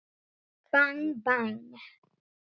Bang bang.